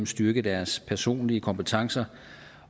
styrke deres personlige kompetencer